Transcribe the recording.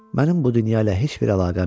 Mənim bu dünya ilə heç bir əlaqəm yoxdur,